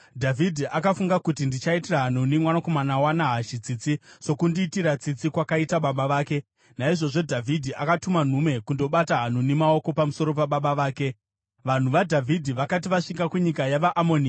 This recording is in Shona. Dhavhidhi akafunga kuti, “Ndichaitira Hanuni mwanakomana waNahashi tsitsi, sokundiitira tsitsi kwakaita baba vake.” Naizvozvo Dhavhidhi akatuma nhume kundobata Hanuni maoko pamusoro pababa vake. Vanhu vaDhavhidhi vakati vasvika kunyika yavaAmoni,